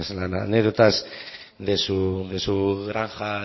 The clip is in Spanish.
las anécdotas de su granja